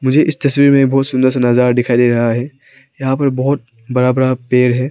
मुझे इस तस्वीर में बहुत सुंदर सा नजारा दिखाई दे रहा है यहां पर बहुत बड़ा बड़ा पेड़ है।